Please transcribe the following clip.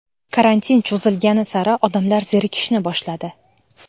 Karantin cho‘zilgani sari odamlar zerikishni boshladi.